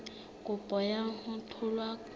kopo ya ho tholwa ha